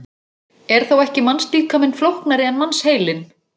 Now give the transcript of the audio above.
Er þá ekki mannslíkaminn flóknari en mannsheilinn?